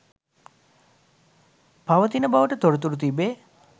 පවතින බවට තොරතුරු තිබේ